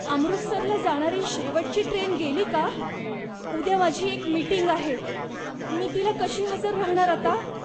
अमृतसरला जाणारी शेवटची ट्रेन गेली का? उद्या माझी एक मीटिंग आहे, मी तिला कशी हजर राहणार आता?